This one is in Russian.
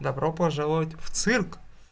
добро пожаловать в цирк